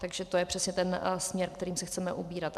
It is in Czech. Takže to je přesně ten směr, kterým se chceme ubírat.